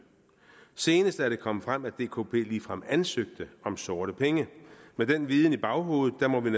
senest er det kommet frem at dkp ligefrem ansøgte om sorte penge med den viden i baghovedet må vi